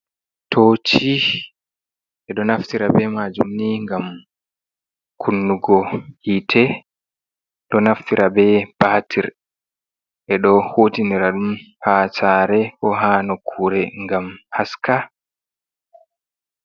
Tooci ɓe ɗo naftira ɓe majum ni ngam kunnugo yite, do naftira be batir, ɓe do huutinira ɗum ha saare ko ha nokkure ngam haska.